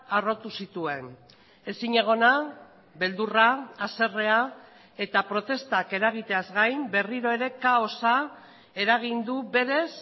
harrotu zituen ezinegona beldurra haserrea eta protestak eragiteaz gain berriro ere kaosa eragin du berez